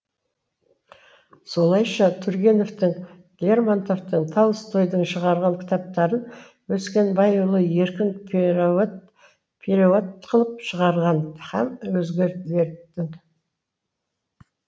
солайша тургеневтің лермонтовтың толстойдың шығарған кітаптарын өскенбайұлы еркін переуат қылып шығарған һәм өзгелердің